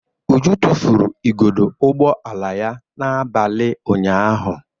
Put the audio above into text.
Uju tufuru igodo ụgbọ ala ya n'abalị ụnyaahụ.